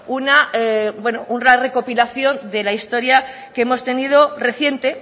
una recopilación de la historia que hemos tenido reciente